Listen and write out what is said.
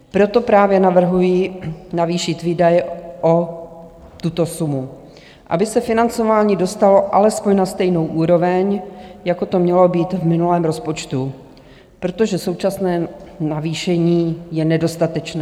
Proto právě navrhuji navýšit výdaje o tuto sumu, aby se financování dostalo alespoň na stejnou úroveň jako to mělo být v minulém rozpočtu, protože současné navýšení je nedostatečné.